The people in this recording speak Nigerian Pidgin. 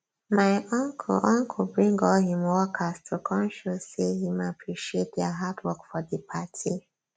my uncle uncle bring all him workers to come show say him appreciate dia hard work for di party